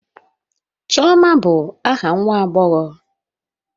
Chioma bụ aha nwa agbọghọ